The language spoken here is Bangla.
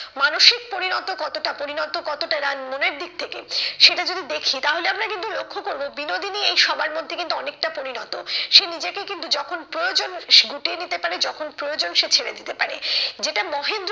মানসিক পরিণত কতটা পরিণত কতটা তার মনের দিক থেকে সেটা যদি দেখি তাহলে আমরা কিন্তু লক্ষ্য করবো বিনোদিনী এই সবার মধ্যে কিন্তু অনেকটা পরিণত। সে নিজেকে কিন্তু যখন প্রয়োজন গুটিয়ে নিতে পারে যখন প্রয়োজন সে ছেড়ে দিতে পারে। যেটা মহেন্দ্র,